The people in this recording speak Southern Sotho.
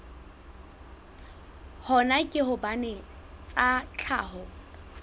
hona ke hobane tsa tlhaho